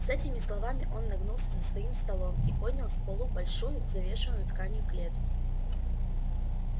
с этими словами он нагнулся за своим столом и поднял с полу большую завешенную тканью клетку